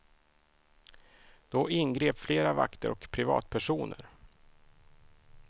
Då ingrep flera vakter och privatpersoner.